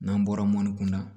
N'an bɔra mɔni kun na